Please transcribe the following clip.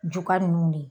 Juga ninnu de